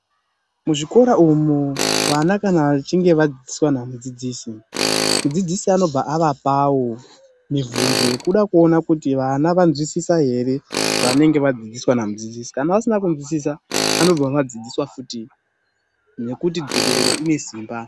Muzvikora umu vana kana vachinge vadzidziswa namudzidzisi mudzidzisi anozoona kuti ana anzwisisa ere zvavanenge vadzidziswa namudzidzisi mudzidzisi anobva avapowo mibvunzo yekuda kuona kuti vana vanzwisisa ere zvavanenge vadzidziswa namudzidzisi kana vasina kunzwisisa vanobva vadzidziswa futi nekuti dzokororo ine simba.